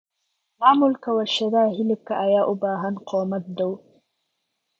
Maamulka warshadaha hilibka ayaa u baahan kormeer dhow.